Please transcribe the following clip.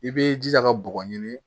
I b'i jija ka bɔgɔ ɲini